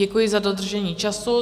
Děkuji za dodržení času.